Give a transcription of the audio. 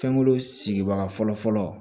Fɛnko sigibaga fɔlɔ